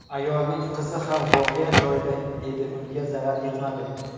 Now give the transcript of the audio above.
Ayolning qizi ham voqea joyida edi unga zarar yetmadi.